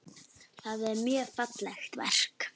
Það er mjög fallegt verk.